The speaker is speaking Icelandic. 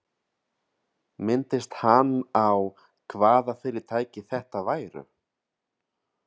Minntist hann á, hvaða fyrirtæki þetta væru?